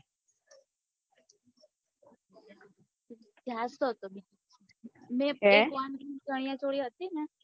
હ ચણીયાચોલી હતી ને